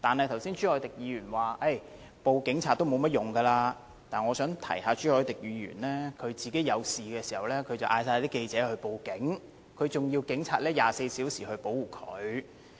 剛才朱凱廸議員表示向警察報案的作用不大，但我想提醒朱凱廸議員，他遇事時便叫所有記者報警，還要求警察24小時保護他。